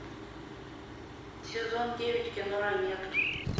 сезон девять кино ранетки